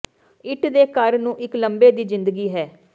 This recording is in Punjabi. ਇੱਟ ਦੇ ਘਰ ਨੂੰ ਇੱਕ ਲੰਬੇ ਦੀ ਜ਼ਿੰਦਗੀ ਹੈ